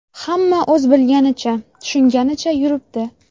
Hamma o‘z bilganicha, tushunganicha yuribdi.